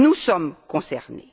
Nous sommes concernés!